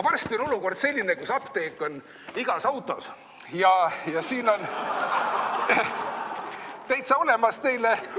Varsti on olukord selline, kus apteek on igas autos ja siin on täitsa olemas teile.